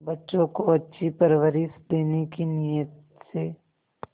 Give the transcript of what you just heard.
बच्चों को अच्छी परवरिश देने की नीयत से